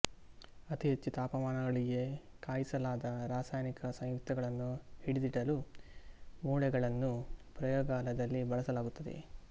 ಅತಿ ಹೆಚ್ಚು ತಾಪಮಾನಗಳಿಗೆ ಕಾಯಿಸಲಾದ ರಾಸಾಯನಿಕ ಸಂಯುಕ್ತಗಳನ್ನು ಹಿಡಿದಿಡಲು ಮೂಸೆಗಳನ್ನು ಪ್ರಯೋಗಾಲಯದಲ್ಲಿ ಬಳಸಲಾಗುತ್ತದೆ